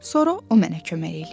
Sonra o mənə kömək eləyər.